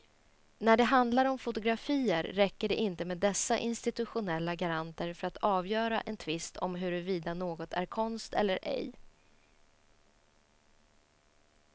När det handlar om fotografier räcker det inte med dessa institutionella garanter för att avgöra en tvist om huruvida något är konst eller ej.